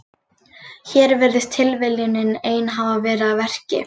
Hér virðist tilviljunin ein hafa verið að verki.